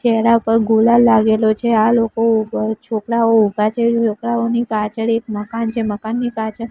ચેહરા ઉપર ગુલાલ લાગેલો છે આ લોકો ઉપર છોકરાઓ ઉભા છે છોકરાઓની પાછળ એક મકાન છે મકાનની પાછળ--